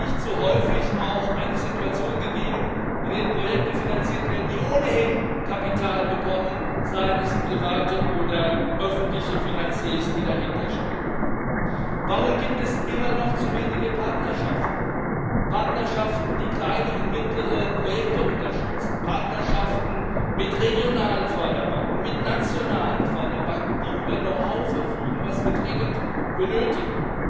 Oder ist nicht zu häufig auch eine Situation gegeben, in der Projekte finanziert werden, die ohnehin Kapital bekommen seien es private oder öffentliche Finanziers, die dahinter stehen? Warum gibt es immer noch zu wenige Partnerschaften Partnerschaften, die kleine und mittlere Projekte unterstützen, Partnerschaften mit regionalen Förderbanken, mit nationalen Förderbanken, die über Know how verfügen, das wir dringend benötigen?